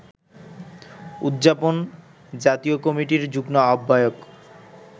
উদযাপন জাতীয় কমিটির যুগ্ম আহ্বায়ক